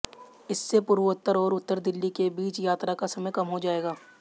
इससे पूर्वोत्तर और उत्तर दिल्ली के बीच यात्रा का समय कम हो जाएगा